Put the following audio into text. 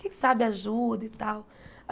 Quem sabe ajuda e tal.